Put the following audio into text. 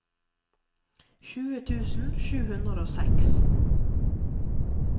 tjue tusen sju hundre og seks